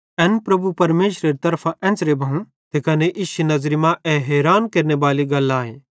एन प्रभु परमेशरेरी तरफां एन्च़रां भोव ते कने इश्शी नज़री मां ए हैरान भोनेरी गल आए